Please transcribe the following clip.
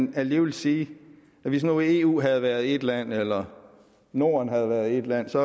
vil alligevel sige at hvis nu eu havde været ét land eller norden havde været ét land så